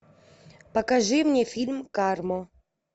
покажи мне фильм карму